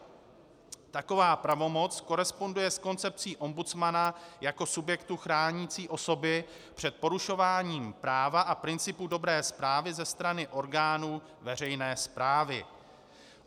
Taková pravomoc koresponduje s koncepcí ombudsmana jako subjektu chránícího osoby před porušováním práva a principu dobré správy ze strany orgánů veřejné správy.